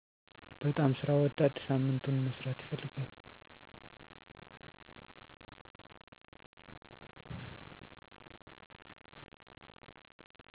በጣም ስራ ወዳድ ሳምንቱን መስራት ይፈልጋሉ